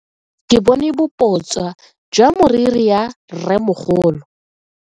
Ke bone boputswa jwa meriri ya rremogolo.